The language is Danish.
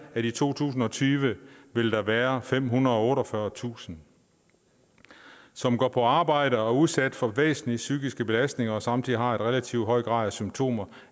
at i to tusind og tyve vil der være femhundrede og otteogfyrretusind som går på arbejde og er udsat for væsentlige psykiske belastninger og samtidig har en relativt høj grad af symptomer